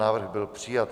Návrh byl přijat.